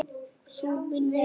Sú vinna er góð.